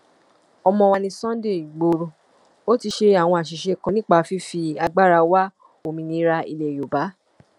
ọmọ wa ní sunday igboro ò ti ṣe àwọn àṣìṣe kan nípa fífi agbára wa òmìnira ilẹ yorùbá